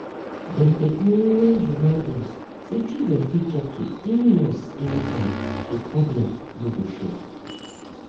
dem dey always remind us say children fit talk to any nurse anytime so problem no go show.